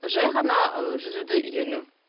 жай ғана ы жүзуді үйрену